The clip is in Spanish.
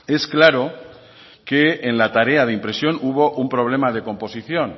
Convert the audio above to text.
es claro que en la tarea de impresión hubo un problema de composición